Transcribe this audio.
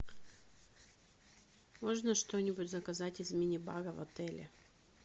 можно что нибудь заказать из мини бара в отеле